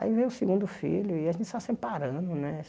Aí veio o segundo filho e a gente só separando, né?